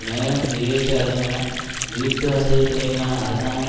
மேலும் வீழ்ச்சி அடையும் என வீட்டுவசதித்துறைக்கான அரசாங்க